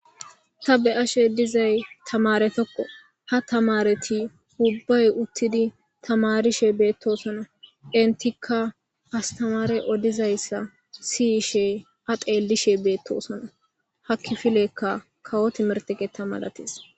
ta be ashe dizay tamare tokko ha tamareti ubbay uttidi tamarishe beettosona intikka astamare odizayssa siyiishe adelishe beettosona hakki filekka kawoti merteqe tamalatees